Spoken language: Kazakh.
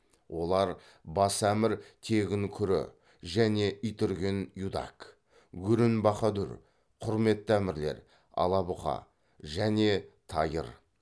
олар бас әмір тегін күрі және итүрген юдак гүрін бахадүр құрметті әмірлер ала бұқа және тайыр